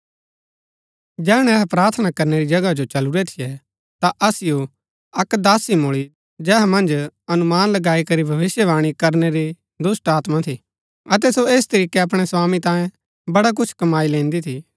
जैहणै अहै प्रार्थना करनै री जगह जो चलुरै थियै ता असिओ अक्क दासी मुळी जेहा मन्ज अनुमान लगाई करी भविष्‍यवाणी करनै री दुष्‍टात्मा थी अतै सो ऐस तरीकै अपणै स्वामी तांयें बड़ा कुछ कमाई लैन्दी थी